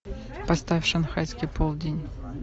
поставь шанхайский полдень